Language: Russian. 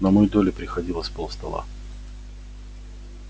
на мою долю приходилось полстола